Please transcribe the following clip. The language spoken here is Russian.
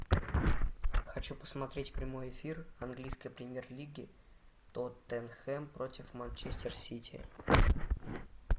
хочу посмотреть прямой эфир английской премьер лиги тоттенхэм против манчестер сити